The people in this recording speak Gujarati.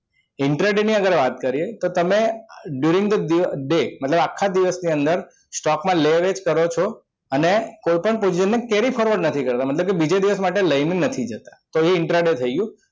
intraday ની વાત કરીએ તો તમે during the day મતલબ આખા દિવસની અંદર stock માં લે-વેચ કરો છો અને અને કોઈપણ carry forward નથી કરતા મતલબ કે બીજે દિવસ માટે લઈને નથી જતા તો intraday થઈ ગયું